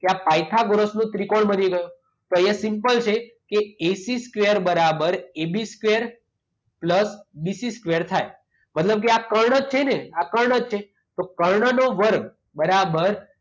કે આ પાયથાગોરસનો ત્રિકોણ બની ગયો. તો એ સિમ્પલ છે કે એસી સ્કવેર બરાબર AB square plus BC square થાય. મતલબ કે આ કર્ણ જ છેને? આ કર્ણ છે. તો કર્ણનો વર્ગ બરાબર